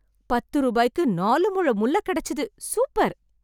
பத்து ரூபாய்க்கு நாலு முழம் முல்லை கெடச்சுது, சூப்பர்.